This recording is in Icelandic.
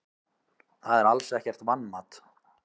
Það er alls ekkert vanmat.